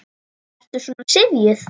Ertu svona syfjuð?